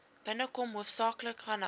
binnekom hoofsaaklik vanaf